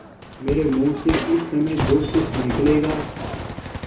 मेरे मुँह से इस समय जो कुछ निकलेगा